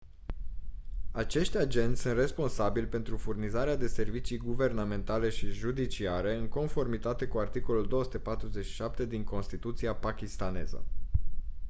acești agenți sunt responsabili pentru furnizarea de servicii guvernamentale și judiciare în conformitate cu articolul 247 din constituția pakistaneză